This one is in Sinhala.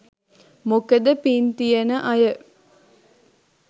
මොකද පින් තියෙන අය